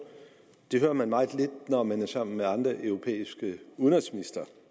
det hører man meget lidt når man er sammen med andre europæiske udenrigsministre